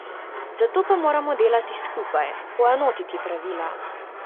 Zato pa moramo delati skupaj, poenotiti pravila.